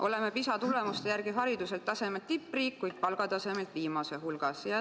Oleme PISA tulemuste järgi hariduse tasemelt tippriik, kuid palga tasemelt viimaste hulgas.